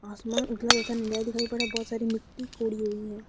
आसमान उथला तथा नीला दिखाई पड़ रहा बहोत सारी मिट्टी कोड़ी हुई है।